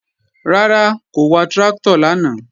Rárá, kò wa tráktọ̀ lánàá